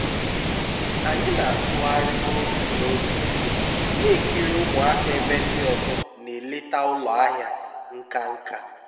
anyị na-atụgharị n'otu n'otu na-ekiri ụmụaka ebe ndị ọzọ na-eleta ụlọ ahịa nka nka